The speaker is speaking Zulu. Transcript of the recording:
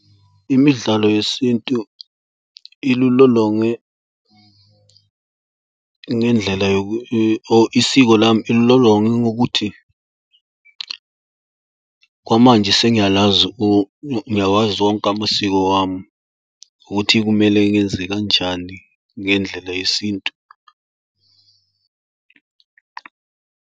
Imidlalo yesintu ilulolonge ngendlela oh isiko lami, ililolonge ngokuthi kwamanje sengiyalazi, ngiyawazi onke amasiko wami ukuthi kumele ngenzekanjani ngendlela yesintu.